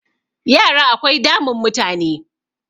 yara akwai damun mutane